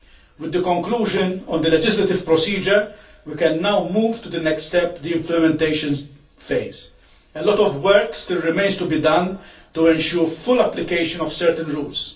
With the conclusion of the legislative procedure we can now move to the next step, the implementation phase. A lot of work still remains to be done to ensure the full application of certain rules.